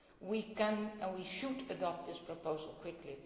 positively. We can and should adopt this proposal